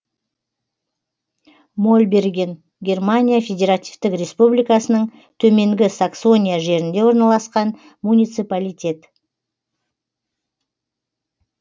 мольберген германия федеративтік республикасының төменгі саксония жерінде орналасқан муниципалитет